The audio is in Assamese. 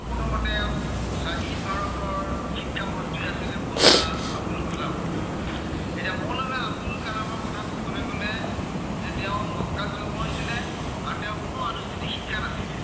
স্বাধীন ভাৰতৰ শিক্ষামন্ত্ৰী আছিলে মৌলানা আব্দুল কালাম। এতিয়া মৌলানা আব্দুল কালামৰ কথা কবলে গলে, যে তেওঁৰ ত জন্ম হৈছিলে আৰু তেওঁৰ কোনো আনুষ্ঠানিক শিক্ষা নাছিলে।